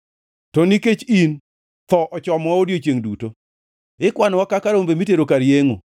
To nikech in, tho ochomowa odiechiengʼ duto; ikwanowa kaka rombo mitero kar yengʼo.